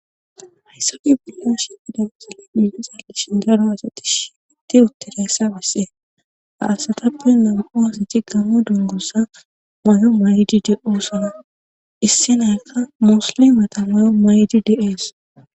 hayssa bollanshi idasale minhi zalishin daro asati shiatti uttireessa bassee haasatappe namho hasa ci gamo dongussa may7o may7idi de oosona issinaykka muslimata mayo may7di deees